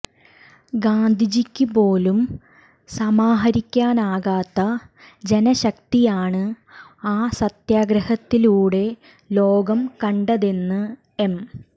ഗാന്ധിജിക്ക് പോലും സമാഹരിക്കാനാകാത്ത ജനശക്തിയാണ് ആ സത്യഗ്രഹത്തിലൂടെ ലോകം കണ്ടതെന്ന് എം